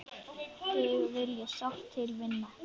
Þig vil ég sárt til vinna.